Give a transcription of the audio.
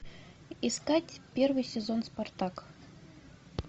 искать первый сезон спартак